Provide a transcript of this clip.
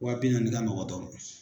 Wa bi naani ka nɔgɔ dɔ ma.